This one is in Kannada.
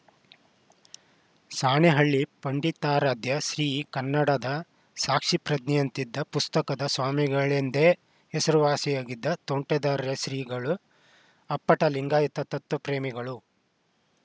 ಸಾಣೆಹಳ್ಳಿ ಪಂಡಿತಾರಾಧ್ಯ ಶ್ರೀ ಕನ್ನಡದ ಸಾಕ್ಷಿಪ್ರಜ್ಞೆಯಂತಿದ್ದ ಪುಸ್ತಕದ ಸ್ವಾಮಿಗಳೆಂದೇ ಹೆಸರುವಾಸಿಯಾಗಿದ್ದ ತೋಂಟದಾರ್ಯ ಶ್ರೀಗಳು ಅಪ್ಪಟ ಲಿಂಗಾಯತ ತತ್ವ ಪ್ರೇಮಿಗಳು